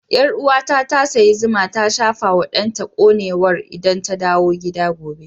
Yarwa ta, ta sayi zuma ta shafa wa danta konewar idan ta dawo gida gobe.